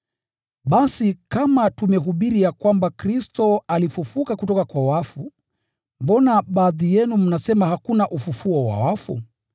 Basi kama tumehubiri ya kwamba Kristo alifufuliwa kutoka kwa wafu, mbona baadhi yenu mnasema hakuna ufufuo wa wafu?